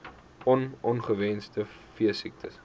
on ongewenste veesiektes